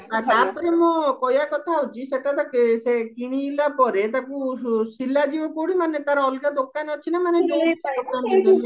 ଆଉ ତାପରେ ମୁଁ କହିବା କଥା ହଉଚି ସେଟା ତ କିଣିଲା ପରେ ତାକୁ ସିଲାଯିବା କଉଠି ମାନେ ତାର ଅଲଗା ଦୋକାନ ଅଛି ନା ମାନେ